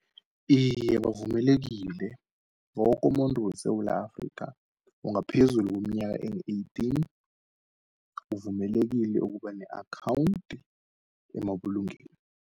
Iye bavumelekile, wokumuntu weSewula Afrika ongaphezulu kweminyaka eyi-eighteen, uvumelekile ukuba ne-akhawunti emabulungeni.